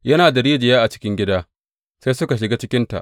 Yana da rijiya a cikin gida, sai suka shiga cikinta.